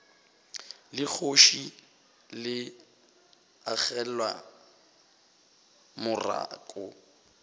la kgoši le agelwa morako